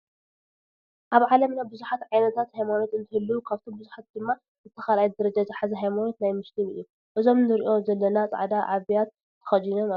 ኣብ ዓለምና ብዚሃት ዓይነታት ሃይማኖት እንትህልው ካብቶም ቡዝሑት ድማ እቲ 2ይ ደረጃ ዝሓዘ ሃይማኖት ናይ ሞስሊም እዩ። እዞም ንርኢም ዘለና ፃዕዳ ዓብያ ተከዲኖም ኣለው።